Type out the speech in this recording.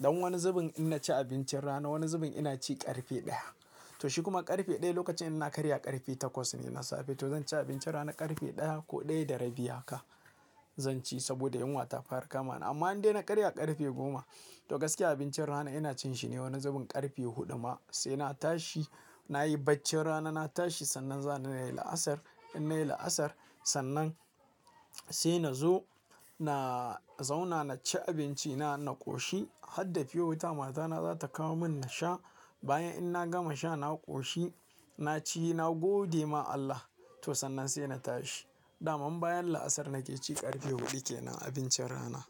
Don wani zubin ina ci abincin rana, wani zubin ina ci ƙarfe ɗaya. To shi kuma ƙarfe ɗaya lokacin ina karya ƙarfe takwas ne na safe to zan ci abincin rana ƙarfe ɗaya ko ɗaya da rabi haka zan ci saboda yunwa ta fara kama ni. Amma in dai na karya ƙarfe goma to gaskiya abincin rana ina cin shi ne wani zubin ƙarfe huɗu ma sai na tashi, nayi baccin rana na tashi sannan zana yi la'asar. In nayi la'asar sannan sai na zo na zauna na ci abinci na, na ƙoshi. Har da pure water matana za ta kawo mun na sha. Bayan in na gama sha na ƙoshi, na ci na gode ma Allah to sannan sai na tashi. Da man bayan la'asar nake ci ƙarfe huɗu kenan abincin rana.